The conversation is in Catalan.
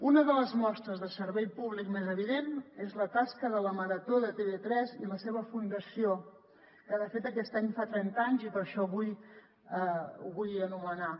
una de les mostres de servei públic més evidents és la tasca de la marató de tv3 i la seva fundació que de fet aquest any fa trenta anys i per això avui ho vull anomenar